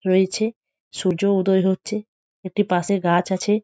রয়েছে সূর্য উদয় হচ্ছে একটি পাশে গাছ আছে।